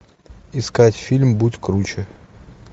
искать фильм будь круче